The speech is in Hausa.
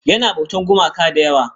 Yana bautar gumaka da yawa.